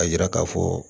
A yira k'a fɔ